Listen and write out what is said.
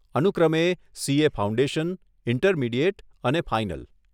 અનુક્રમે CA foundation, intermediate અને final.